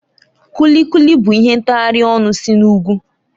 Kuli Kuli bụ ihe ntaghari ọnụ si n'ugwu